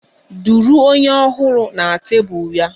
Duru onye Ọhụrụ na tebụl ya!